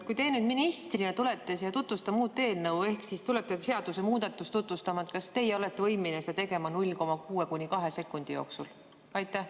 Kui te ministrina tulete siia tutvustama uut eelnõu ehk tulete seadusemuudatust tutvustama, kas teie olete võimeline tegema seda 0,6–2 sekundi jooksul?